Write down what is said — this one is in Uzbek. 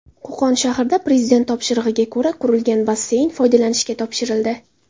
Qo‘qon shahrida Prezident topshirig‘iga ko‘ra qurilgan basseyn foydalanishga topshirildi.